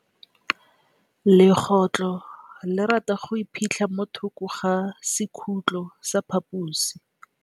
Legôtlô le rata go iphitlha mo thokô ga sekhutlo sa phaposi.